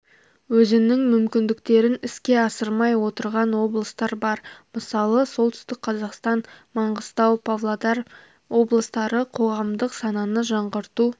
өзінің мүмкіндіктерін іске асырмай отырған облыстар бар мысалы солтүстік қазақстан маңғыстау павлодар облыстары қоғамдық сананы жаңғырту